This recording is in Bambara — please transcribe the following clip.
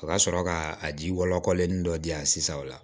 A ka sɔrɔ ka a ji walen dɔ di yan sisan o la